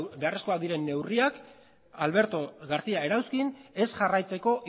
beharrezkoak diren neurriak alberto garcía erauzkin ez jarraitzeko